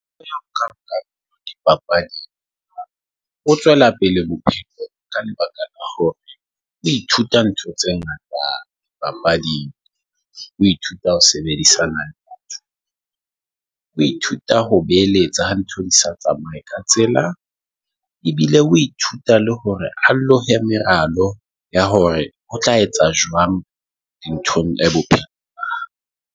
dipapadi ho tswela pele ka lebaka Ithuta ntho tse ngata. Papadi o ithuta ho sebedisana, o ithuta ho beheletsa ha ntho di sa tsamaye ka tsela ebile o ithuta le hore ha lohe, meralo ya hore ho tla etsa jwang dinthong e bope